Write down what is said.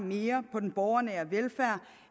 mere på den borgernære velfærd